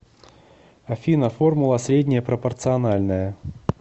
афина формула среднее пропорциональное